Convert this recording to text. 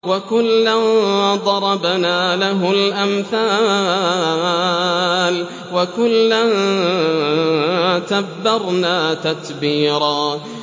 وَكُلًّا ضَرَبْنَا لَهُ الْأَمْثَالَ ۖ وَكُلًّا تَبَّرْنَا تَتْبِيرًا